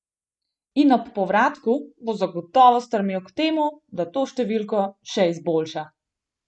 In ob povratku bo zagotovo stremel k temu, da to številko še izboljša.